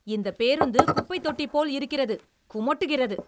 இந்தப் பேருந்து குப்பைத்தொட்டிபோல் இருக்கிறது, குமட்டுகிறது!